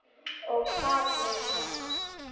Og hvað með Nonna?